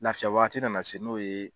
Laafiya waati nana se n'o ye